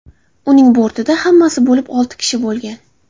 Uning bortida hammasi bo‘lib olti kishi bo‘lgan.